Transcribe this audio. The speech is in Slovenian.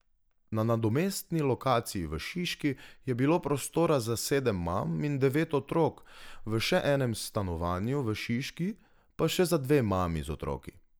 Na nadomestni lokaciji v Šiški je bilo prostora za sedem mam in devet otrok, v še enem stanovanju v Šiški pa še za dve mami z otroki.